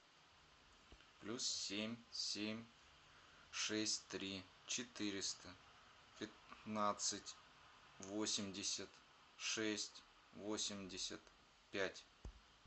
плюс семь семь шесть три четыреста пятнадцать восемьдесят шесть восемьдесят пять